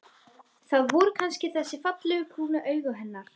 Það voru kannski þessi fallegu, brúnu augu hennar.